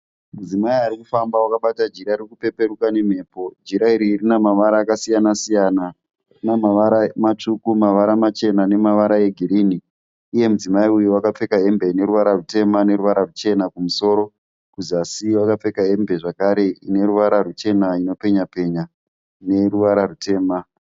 Mudzimai arikufambao akabata jira ririkupepereka nemhepo. Jira iri rina mavara akasiyana siyana, rine mavara matsvuku, mavara machena nemavara egirini. Iye mudzimai uyu akapfekao hembe ine ruvara rutema neruvara ruchena kumusoro. Kuzasi akapfeka hembe ine ruvara ruchena inopenya penya neruvara rutema.